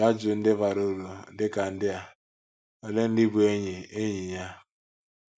Jụọ ajụjụ ndị bara uru, dị ka ndị a: Olee ndị bụ́ enyi enyi ya?